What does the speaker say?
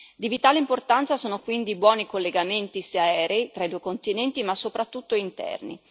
Di vitale importanza sono quindi buoni collegamenti aerei tra i due continenti, ma soprattutto interni.